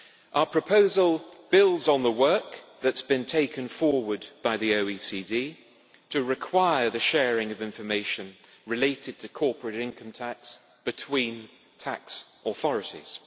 Our proposal builds on the work that has been taken forward by the OECD to require the sharing of information related to corporate income tax between tax authorities.